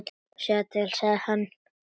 Sjáðu til, sagði hann.